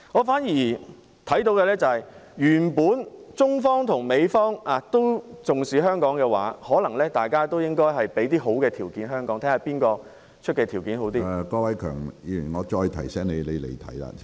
反而，我看到的是，如果中方與美方都重視香港，大家也應為香港提供一些好的條件，看看誰提出的條件較好......